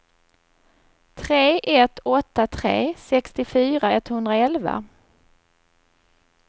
tre ett åtta tre sextiofyra etthundraelva